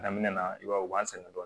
Daminɛ na i b'a ye u b'an sɛgɛn dɔɔnin